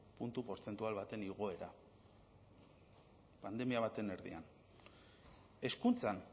puntu portzentual baten egoera pandemia baten erdian hezkuntzan